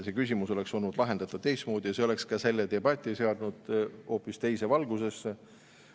See küsimus oleks olnud lahendatav teistmoodi ja see oleks ka selle debati seadnud hoopis teise valgusesse.